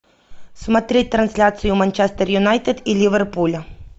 смотреть трансляцию манчестер юнайтед и ливерпуля